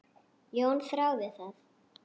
Jón þáði það.